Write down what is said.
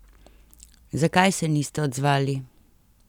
Zakaj se niste odzvali?